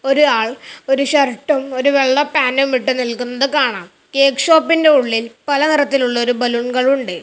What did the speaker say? ഒരു ആൾ ഒരു ഷർട്ടും ഒരു വെള്ള പാന്റും ഇട്ടു നിൽക്കുന്നത് കാണാം കേക്ക് ഷോപ്പിന്റെ ഉള്ളിൽ പല നിറത്തിലുള്ള ഒരു ബലൂൺകൾ ഉണ്ട്.